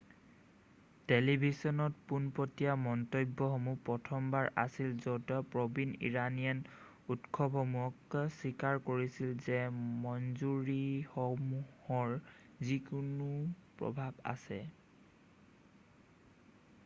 টেলিভিছনত পোনপটিয়া মন্তব্যসমূহ প্ৰথমবাৰ আছিল যত প্ৰবীণ ইৰাণীয়ানে উৎসসমূহক স্বীকাৰ কৰিছিল যে মঞ্জুৰিসমূহৰ যিকোনো প্ৰভাৱ আছে৷